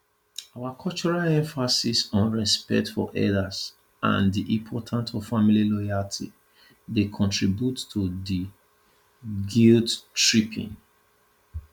our cultural emphasis on respect for elders and di importance of family loyalty dey contribute to dis guilttripping